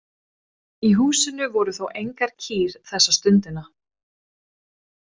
Í húsinu voru þó engar kýr þessa stundina.